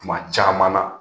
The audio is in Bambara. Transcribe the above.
Kuma caman na